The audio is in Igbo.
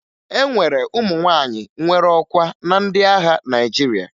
E nwere ụmụ nwaanyị nwere ọkwa na ndị agha Naịjirịa